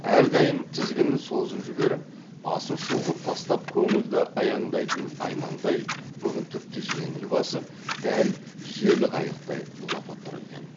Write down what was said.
әрдайым тізгінін созып жіберіп басын шұлғып тастап көңілді аяңдайтын аймаңдай бүгін тіпті жеңіл басып дәл жел қайықтай лыпып тұр екен